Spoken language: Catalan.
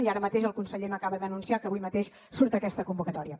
i ara mateix el conseller m’acaba d’anunciar que avui mateix surt aquesta convocatòria